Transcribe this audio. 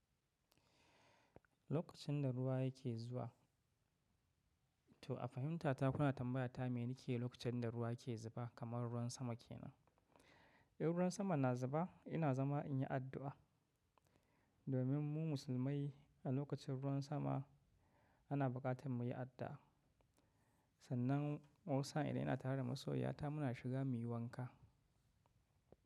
Lokacin da ruwa yake zuwa, to a fahimtar ta, kuna tambaya ta me nake yi lokacin da ruwa ke zuba kamar ruwan sama kenan? In ruwan sama na zuba ina zama in yi addu'a. Domin mu musulmai a lokacin ruwan sama ana bukatar mu yi addu'a. Sannan wasu sa'in idan ina tare da masoyiyata, muna shiga muyi wanka.